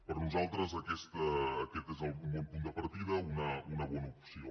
per nosaltres aquest és un bon punt de partida una bona opció